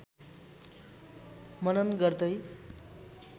मनन गर्दै